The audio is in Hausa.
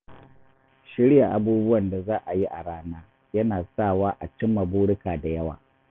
Shirya abubuwan da za a yi a rana yana sa wa a cimma burika da yawa.